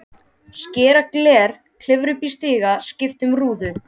Skera gler, klifra upp í stiga, skipta um rúður.